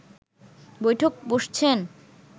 বৈঠক বসছেন